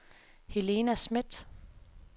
Helena Smidt